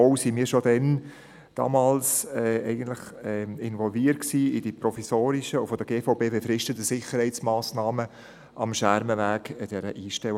Zudem waren wir bereits damals in die provisorischen und von der GVB befristeten Sicherheitsmassnahmen am Schermenweg bei der Einstellhalle involviert.